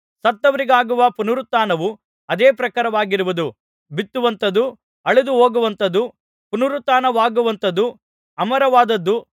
ಸತ್ತವರಿಗಾಗುವ ಪುನರುತ್ಥಾನವು ಅದೇ ಪ್ರಕಾರವಾಗಿರುವುದು ಬಿತ್ತುವಂಥದ್ದು ಅಳಿದುಹೊಗುವಂಥದ್ದು ಪುನರುತ್ಥಾನವಾಗುವಂಥದ್ದು ಅಮರವಾದದ್ದು